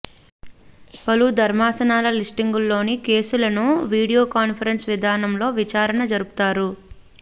పలు ధర్మాసనాల లిస్టింగ్లోని కేసులను వీడియో కాన్ఫరెన్స్ విధానంలో విచారణ జరుపుతారు